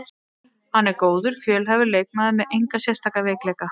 Hann er góður, fjölhæfur leikmaður með enga sérstaka veikleika.